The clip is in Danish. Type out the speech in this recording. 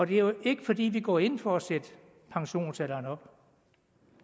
det er jo ikke fordi vi går ind for at sætte pensionsalderen op